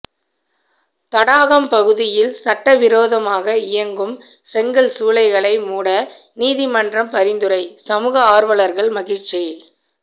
தடாகம் பகுதியில் சட்டவிரோதமாக இயங்கும் செங்கல் சூளைகளை மூட நீதிமன்றம் பரிந்துரை சமூக ஆர்வலர்கள் மகிழ்ச்சி